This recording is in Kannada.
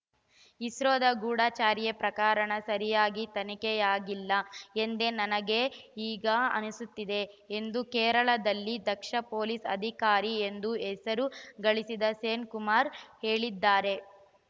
ಇಸ್ರೋದ ಗೂಢಚರ್ಯೆ ಪ್ರಕರಣ ಸರಿಯಾಗಿ ತನಿಖೆಯಾಗಿಲ್ಲ ಎಂದೇ ನನಗೆ ಈಗ ಅನ್ನಿಸುತ್ತದೆ ಎಂದು ಕೇರಳದಲ್ಲಿ ದಕ್ಷ ಪೊಲೀಸ್‌ ಅಧಿಕಾರಿ ಎಂದು ಹೆಸರು ಗಳಿಸಿದ್ದ ಸೇನ್‌ಕುಮಾರ್‌ ಹೇಳಿದ್ದಾರೆ